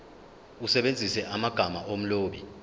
usebenzise amagama omlobi